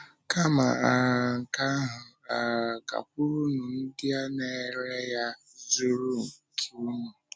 Kama um nke ahụ, um gakwurunụ ndị na-ere ya zụrụ nke unu.”